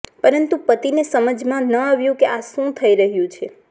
પરંતુ પતિને સમજમાં ન આવ્યુ કે આ શું થઈ રહ્યું છે